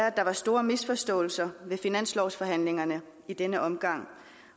at der var store misforståelser ved finanslovsforhandlingerne i denne omgang